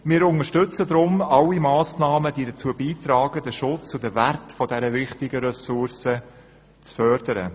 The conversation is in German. Wir unterstützen deshalb alle Massnahmen, die dazu beitragen, den Schutz und den Wert dieser wichtigen Ressource zu fördern.